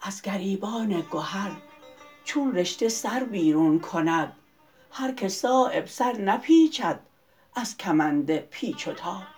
از گریبان گهر چون رشته سر بیرون کند هر که صایب سر نپیچد از کمند پیچ و تاب